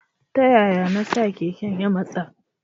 Taya ya na sa keken ya matsa.